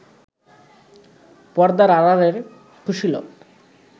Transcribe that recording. পর্দার আড়ালের কুশীলব